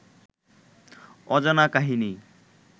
অজানা কাহিনী